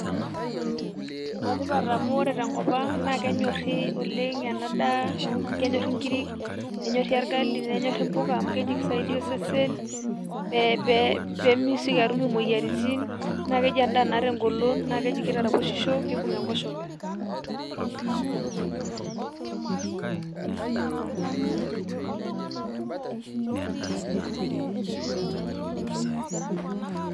enetipat oleng' amu ore te nkop ang' kenyori oleng ena daa, kenyori inkirik, nenyorri orgali, kisaidia osesen, pee itoki atum imoyiaritin. naa keji edaa naata egolon, naa keji kitaraposhisho kibung' enkoshoke.